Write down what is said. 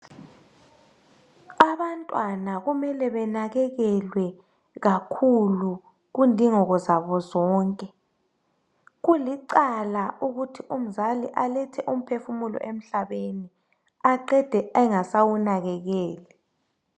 Abantwana kumele benakekelwe kakhulu kundingeko zabo zonke. Kulicala ukuthi umzali alethe umphefumulo emhlabeni aqede engasawunakekeli